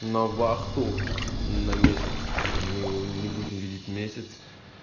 на вахту на месяц и мы его не будем видеть месяц